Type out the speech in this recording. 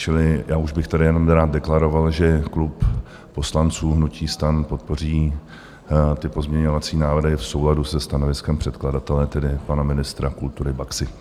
Čili já už bych tady jenom rád deklaroval, že klub poslanců hnutí STAN podpoří ty pozměňovací návrhy v souladu se stanoviskem předkladatele, tedy pana ministra kultury Baxy.